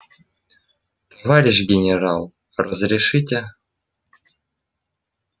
товарищ генерал разрешите